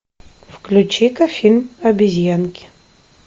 включи ка фильм обезьянки